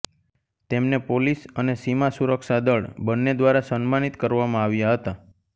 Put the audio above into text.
તેમને પોલીસ અને સીમા સુરક્ષા દળ બંને દ્વારા સન્માનિત કરવામાં આવ્યા હતા